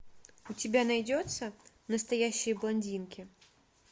у тебя найдется настоящие блондинки